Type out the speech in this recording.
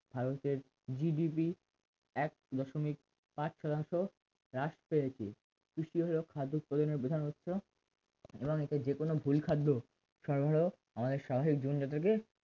ভারতের GDP এক দশমিক পাঁচ শতাংশ হ্রাস পেয়েছে কৃষিজাত খাদ্য উৎপাদনের প্রধান উৎস এবং এটির যেকোনো ভুল খাদ্য সরবরাহ আমাদের স্বাভাবিক জীবনযাত্রা কে